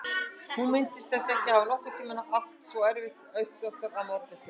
Hún minntist þess ekki að hafa nokkurn tímann átt svona erfitt uppdráttar að morgni til.